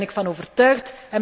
Daar ben ik van overtuigd.